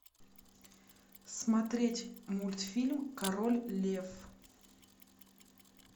смотреть мультфильм король лев